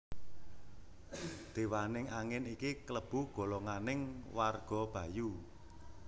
Dewaning angin iki klebu golonganing warga Bayu